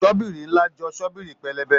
Shọ́bìrì ńlá jọ Shọ́bìrì pẹlẹbẹ